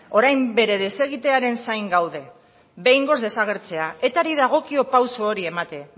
orain bere desegitearen zain gaude behingoz desagertzea etari dagokio pausu hori ematen